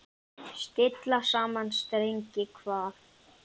Stilla saman strengi hvað?